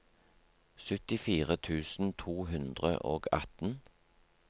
syttifire tusen to hundre og atten